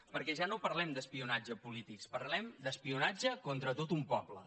perquè ja no parlem d’espionatge polític parlem d’espionatge contra tot un poble